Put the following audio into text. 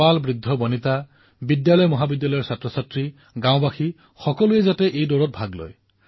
আবাল বৃদ্ধবনিতা সকলোৱে বিদ্যালয় মহাবিদ্যালয় সকলোতে সহস্ৰাধিক সংখ্যাত ভাৰতৰ লক্ষাধিক গাঁৱত সেইদিনা একতাৰ বাবে আমি দৌৰিব লাগিব